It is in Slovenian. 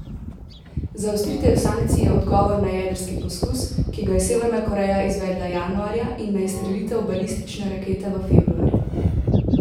Zaostritev sankcij je odgovor na jedrski poskus, ki ga je Severna Koreja izvedla januarja, in na izstrelitev balistične rakete v februarju.